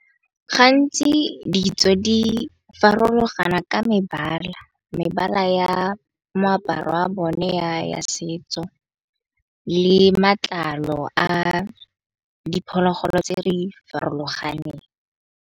Gantsi ditso di farologana ka mebala ya moaparo wa bone ya setso, le matlalo a diphologolo tse di farologaneng.